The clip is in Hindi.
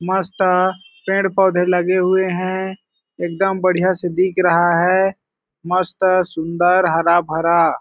मस्त पेड़ पौधे लगे हुए हैं एकदम बढ़िया से दिख रहा है मस्त सुंदर हरा भरा --